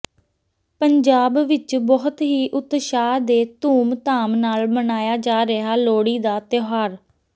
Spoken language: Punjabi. ਪੰਜਾਬ ਵਿੱਚ ਬਹੁਤ ਹੀ ਉਤਸ਼ਾਹ ਤੇ ਧੂਮ ਧਾਮ ਨਾਲ ਮਨਾਇਆ ਜਾ ਰਿਹਾ ਲੋਹੜੀ ਦਾ ਤਿਉਹਾਰ